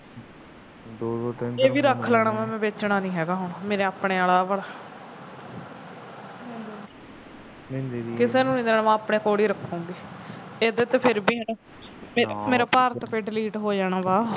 ਇਹ ਵੀ ਰੱਖ ਲੈਣਾ ਵੇਚਣਾ ਨਹੀ ਹੈਗਾ ਹੁਣ ਮੇਰੇ ਆਪਣੇ ਵਾਲਾ ਕਿਸੇ ਨੂੰ ਨਹੀ ਦੇਣਾ ਮੈ ਆਪਣੇ ਕੋਲ ਹੀ ਰੱਖੂਗੀ ਇਹਦਾ ਤਾਂ ਫਿਰ ਵੀ ਮੇਰੇ ਤੋਂ ਫਿਰ delete ਹੋ ਜਾਣਾ ਵਾ